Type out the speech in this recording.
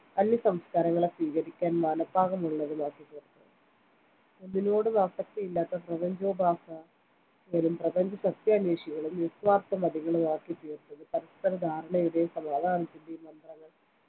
അന്യസംസ്കാരങ്ങളെ സ്വീകരിക്കാൻ മനപ്പാകമുള്ളതുമാക്കിത്തീർത്തത് ഒന്നിനോടും ആസക്തിയില്ലാത്ത പ്രപഞ്ചോപാസകരും പ്രപഞ്ചസത്യാന്വേഷികളും നിസ്വാർത്ഥമതികളുമാക്കിത്തീർത്തത് പരസ്പര ധാരണയുടെയും സമാധാനത്തിന്റെയും മന്ത്രങ്ങൾ